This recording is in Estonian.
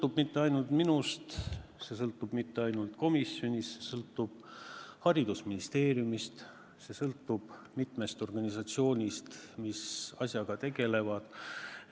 See ei sõltu ainult minust, see ei sõltu ainult komisjonist, see sõltub ka haridusministeeriumist, see sõltub mitmest organisatsioonist, kes asjaga tegelevad.